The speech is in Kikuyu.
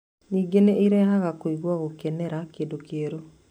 Ningĩ nĩ irehaga kũigua gũkenera kĩndũ kĩerũ.